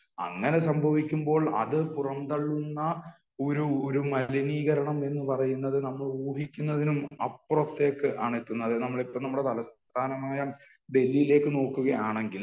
അങ്ങനെ സംഭവിക്കുമ്പോൾ അത് പുറംതള്ളുന്ന ഒരു ഒരു മലിനീകരണം എന്ന് പറയുന്നത് നമ്മൾ ഊഹിക്കുന്നതിനും അപ്പുറത്തേക്ക് ആണ് എത്തുന്നത് . നമ്മൾ ഇപ്പോ നമ്മുടെ തലസ്ഥാനമായ ഡൽഹിയിലേക്ക് നോക്കുകയാണെങ്കിൽ